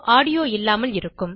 audio இல்லாமல் இருக்கும்